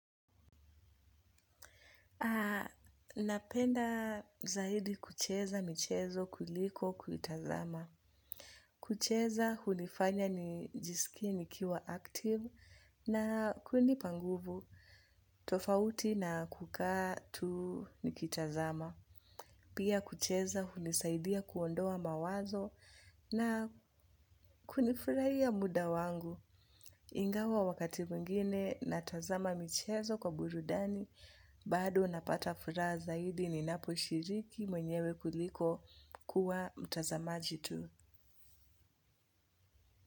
Napenda zaidi kucheza michezo kuliko kuitazama. Kucheza hunifanya nijisikie nikiwa active na kunipa nguvu tofauti na kukaa tu nikitazama. Pia kucheza hunisaidia kuondoa mawazo na kunifuraia muda wangu. Ingawa wakati mwingine natazama michezo kwa burudani, bado napata furaha zaidi ninaposhiriki mwenyewe kuliko kuwa mtazamaji tu.